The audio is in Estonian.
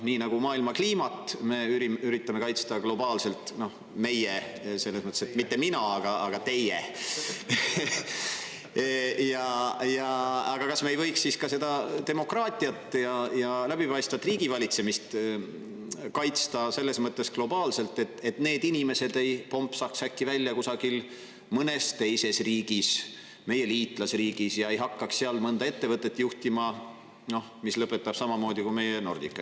Nii nagu maailma kliimat me üritame kaitsta globaalselt – meie selles mõttes, et mitte mina, aga teie –, kas me ei võiks siis ka seda demokraatiat ja läbipaistvat riigivalitsemist kaitsta selles mõttes globaalselt, et need inimesed ei plumpsaks äkki välja kusagil mõnes teises riigis, meie liitlasriigis, ja ei hakkaks seal juhtima mõnda ettevõtet, mis lõpetab samamoodi kui meie Nordica?